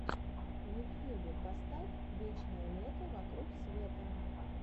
в ютьюбе поставь вечное лето вокруг света